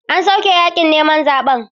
An soke yakin neman zaben.